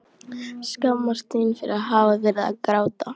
Skammast sín fyrir að hafa verið að gráta.